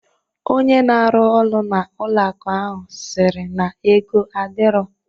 Onye na arụ orụ n'ụlọ akụ ahụ sịrị na ego adirọ